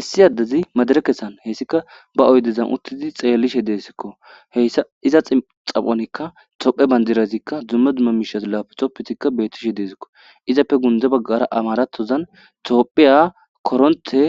Issi addezi madirekasan he issika ba oydezan uttidi tseelishe de'iseko. He iza tsaphonkka toophphiya bandirazikka dumma dumma miisha lapitopetika bettishe de'iseko, izappe guntada baggara amaraton tophphiya korontte